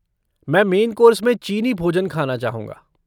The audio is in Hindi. मैं मेन कोर्स में चीनी भोजन खाना चाहूँगा।